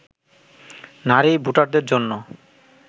নারী ভোটারদের জন্য